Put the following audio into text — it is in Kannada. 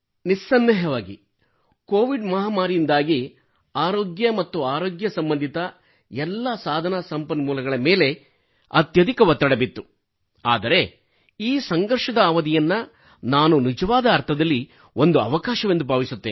ನಿಸ್ಸಂದೇಹವಾಗಿ ಕೋವಿಡ್ ಮಹಾಮಾರಿಯಿಂದಾಗಿ ಆರೋಗ್ಯ ಮತ್ತು ಆರೋಗ್ಯ ಸಂಬಂಧಿತ ಎಲ್ಲಾ ಸಾಧನ ಸಂಪನ್ಮೂಲಗಳ ಮೇಲೆ ಅತ್ಯಧಿಕ ಒತ್ತಡ ಬಿತ್ತು ಆದರೆ ಈ ಸಂಘರ್ಷದ ಅವಧಿಯನ್ನು ನಾನು ನಿಜವಾದ ಅರ್ಥದಲ್ಲಿ ಒಂದು ಅವಕಾಶವೆಂದು ಭಾವಿಸುತ್ತೇನೆ